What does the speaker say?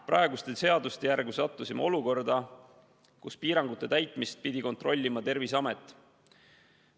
Praeguste seaduste järgi sattusime olukorda, kus piirangute täitmist pidi kontrollima Terviseamet.